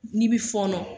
N'i bi fɔɔnɔ